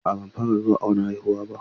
A'a ban fara zuwa awon haihuwa ba.